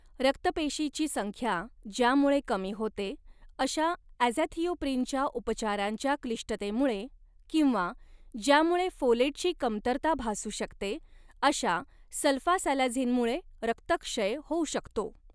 रक्त पेशीची संख्या ज्यामुळे कमी होते अशा ॲझॅथिओप्रिनच्या उपचारांच्या क्लिष्टतेमुळे किंवा ज्यामुळे फोलेटची कमतरता भासू शकते अशा सल्फासॅलाझिनमुळे रक्तक्षय होऊ शकतो.